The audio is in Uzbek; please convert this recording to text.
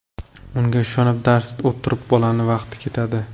Unga ishonib, darsida o‘tirib bolani vaqti ketadi.